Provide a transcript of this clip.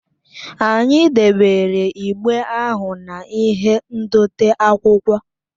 Anyị debere igbe ahụ na-ihe ndote akwụkwọ